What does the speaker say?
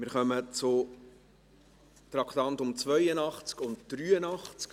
Wir kommen zu den Traktanden 82 und 83.